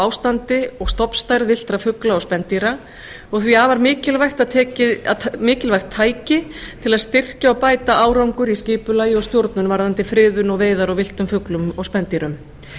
ástandi og stofnstærð villtra fugla og spendýra og eru því afar mikilvægt tæki til að styrkja og bæta árangur í skipulagi og stjórnun varðandi friðun og veiðar á villtum fuglum og spendýrum